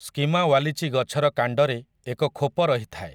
ସ୍କିମା ୱାଲିଚି ଗଛର କାଣ୍ଡରେ ଏକ ଖୋପ ରହିଥାଏ ।